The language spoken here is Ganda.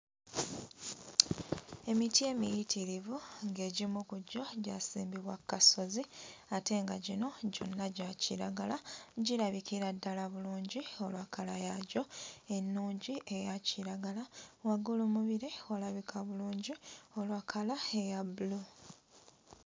Emiti emiyitirivu ng'egimu ku ggyo gyasimbibwa kasozi ate nga gino gyonna gya kiragala, girabikira ddala bulungi olwa kkala yagyo ennungi eya kiragala, waggulu mu bire walabika bulungi olwa kkala eya bbulu.